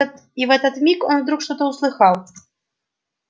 и в этот миг он вдруг что-то услыхал